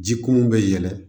Ji kun bɛ yɛlɛ